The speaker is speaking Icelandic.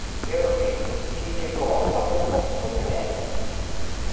Mjög fínt Kíkir þú oft á Fótbolti.net?